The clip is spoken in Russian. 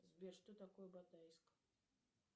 сбер что такое батайск